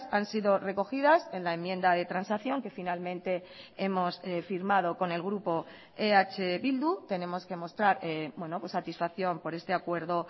han sido recogidas en la enmienda de transacción que finalmente hemos firmado con el grupo eh bildu tenemos que mostrar satisfacción por este acuerdo